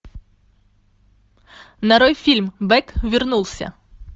нарой фильм бэк вернулся